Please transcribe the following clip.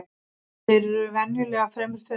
Þeir eru venjulega fremur þunnir